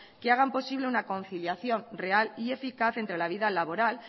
que hagan posible una conciliación real y eficaz entre la vida laboral